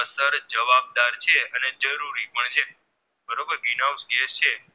gas છે